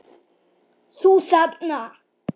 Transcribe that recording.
ÞÚ ÞARNA!